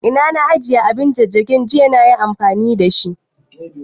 Ina na ajiye abin jajjagin, jiya fa nayi amfani da shi